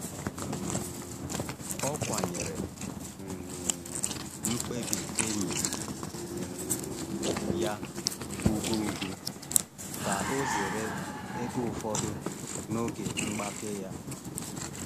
um Ọ kwanyere um mkpebi enyi um ya ugwu ugwu ka ọ zere ebe ụfọdụ n’oge mgbake ya.